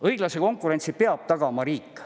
Õiglase konkurentsi peab tagama riik.